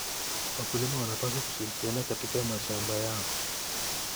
Wakulima wanapaswa kushirikiana katika mashamba yao.